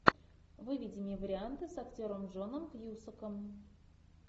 выведи мне варианты с актером джоном кьюсаком